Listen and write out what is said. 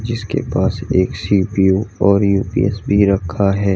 जिसके पास एक सी_पी_यू और यू_पी_एस भी रखा है।